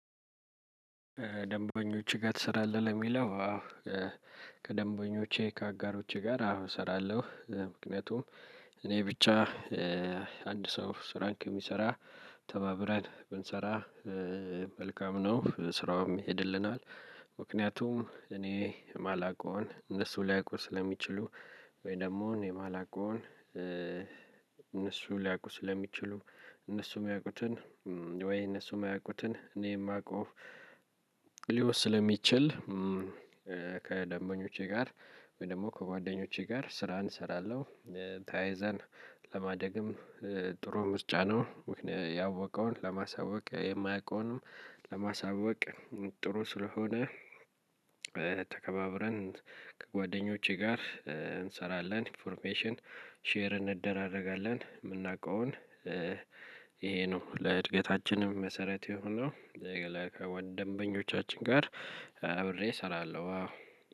ደንበኞች ጋር ትሰራለህ ለሚለው? ከደንበኞቼ ከአጋሮቼ ጋር አዎ አሰራለሁ ምክንያቱም እኔ ብቻ አንድ ሰው ስራን ከሚሰራ ተባብረን ብንሰራ መልካም ነው ስራውም ይሄድልናል። ምክንያቱም እኔ ማላቀውን እነሱ ሊያውቁ ስለሚችሉ ወይ ደግሞ እኔ ማላቀውን እነሱ ሊያውቁ ስለሚችሉ እነሱ ሚያውቁትን ወይ እነሱ የማያውቁትን እኔ የማውቀው ስለሚችል። ከደንበኞቼ ጋር ወይ ደግሞ ከጓደኞቼ ጋር ስራን እሰረለው ተያይዘን ለማደግም ጥሩ ምርጫ ነው። ያወቀውን ለማሳወቅ የማያውቀውንም ለማሳወቅ ጥሩ ስለሆነ። ተከባብረን ከጓደኞቼ ጋር እንሰራለን ኢንፎርሜሽን ሼር እንደራረጋለን የምናውቀውን ይሄ ነው ለእድገታችንም መሰረት የሆነው። ከወን ደንበኞቻችን ጋር አብሬ እሰራለሁ